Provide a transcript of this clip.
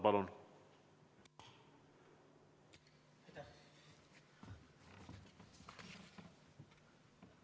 Palun!